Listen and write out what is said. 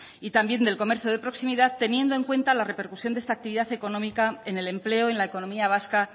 y también del comercio de proximidad teniendo en cuenta la repercusión de esta actividad económica en el empleo en la economía vasca